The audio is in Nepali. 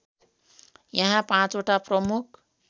यहाँ पाँचवटा प्रमुख